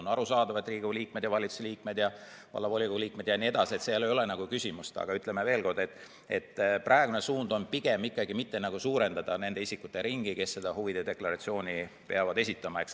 On arusaadav, et Riigikogu liikmed ja valitsuse liikmed ja vallavolikogude liikmed ja nii edasi – selles ei ole küsimust, aga ütlen veel kord, et praegune suund on pigem ikkagi mitte suurendada nende isikute ringi, kes huvide deklaratsiooni peavad esitama.